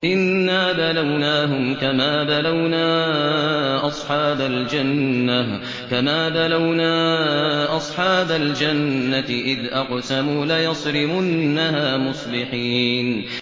إِنَّا بَلَوْنَاهُمْ كَمَا بَلَوْنَا أَصْحَابَ الْجَنَّةِ إِذْ أَقْسَمُوا لَيَصْرِمُنَّهَا مُصْبِحِينَ